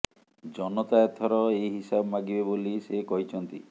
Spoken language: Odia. ଜନତା ଏଥର ଏହି ହିସାବ ମାଗିବେ ବୋଲି ସେ କହିଛନ୍ତି